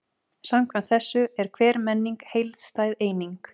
Samkvæmt þessu er hver menning heildstæð eining.